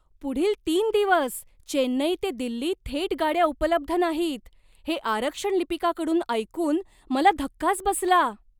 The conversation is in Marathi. पुढील तीन दिवस चेन्नई ते दिल्ली थेट गाड्या उपलब्ध नाहीत हे आरक्षण लिपिकाकडून ऐकून मला धक्काच बसला.